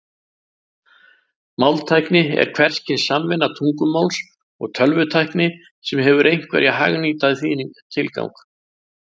Máltækni er hvers kyns samvinna tungumáls og tölvutækni sem hefur einhvern hagnýtan tilgang.